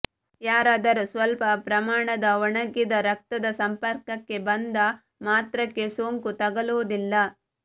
ಯಾರಾದರೂ ಸ್ವಲ್ಪ ಪ್ರಮಾಣದ ಒಣಗಿದ ರಕ್ತದ ಸಂಪರ್ಕಕ್ಕೆ ಬಂದ ಮಾತ್ರಕ್ಕೆ ಸೋಂಕು ತಗುಲುವುದಿಲ್ಲ